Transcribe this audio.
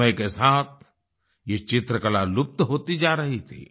समय के साथ ये चित्रकला लुप्त होती जा रही थी